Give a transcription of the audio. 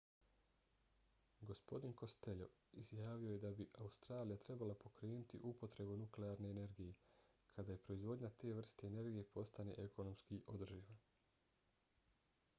gospodin costello izjavio je da bi australija trebala pokrenuti upotrebu nuklearne energije kada proizvodnja te vrste energije postane ekonomski održiva